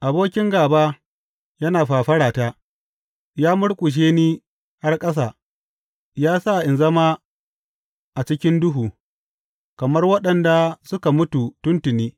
Abokin gāba yana fafarata, ya murƙushe ni har ƙasa; ya sa ina zama a cikin duhu kamar waɗanda suka mutu tun tuni.